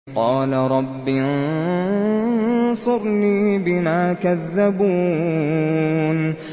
قَالَ رَبِّ انصُرْنِي بِمَا كَذَّبُونِ